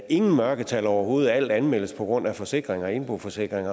ingen mørketal overhovedet fordi alt anmeldes på grund af forsikring og indboforsikring